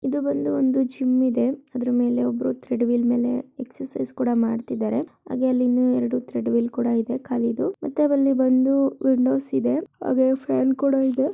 ಇಲ್ಲಿ ಒಂದು ಜಿಮ್ ಇದೆ ಅದ್ರ ಮೇಲೆ ಒಬ್ರು ನಿಂತಿದ್ದಾರೆ ಎಕ್ಸರ್ಸೈಜ್ ಕೂಡ ಮಾಡ್ತಿದ್ದಾರೆ ಹಾಗೆ ಅಲ್ಲಿ ಇನ್ನ ಎರಡು ಥ್ರೆಡ್ ಮಿಲ್ ಕೂಡ ಖಾಲಿದು ಮತ್ತೆ ಅಲ್ಲಿ ಬಂದು ವಿಂಡೋಸ್ ಇದೆ.